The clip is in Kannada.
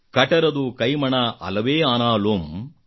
ಕಟರದು ಕೈಮಣ ಅಲವೆ ಆನಾಲುಮ್